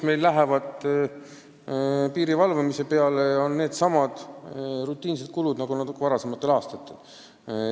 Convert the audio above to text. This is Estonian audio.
Praegused piiri valvamise kulud on needsamad rutiinsed kulud, mis viimastel aastatel olnud on.